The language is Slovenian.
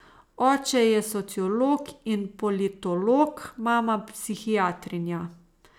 Oče je sociolog in politolog, mama psihiatrinja.